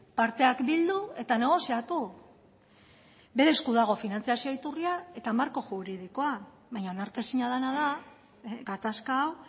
parteak bildu eta negoziatu bere esku dago finantzazio iturria eta marko juridikoa baina onartezina dena da gatazka hau